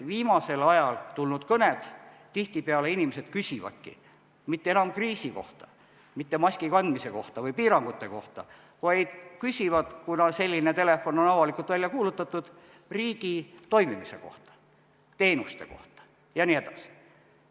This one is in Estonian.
Viimasel ajal tulnud kõned näitavad, et tihtipeale inimesed ei küsigi mitte enam kriisi kohta, mitte maski kandmise kohta või piirangute kohta, vaid küsivad, kuna selline telefon on avalikult välja kuulutatud, riigi toimimise kohta, teenuste kohta jne.